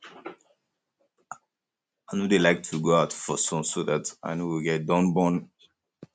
i no dey like to go out for um sun so dat i no go get dun burn